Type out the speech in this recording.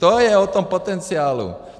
To je o tom potenciálu.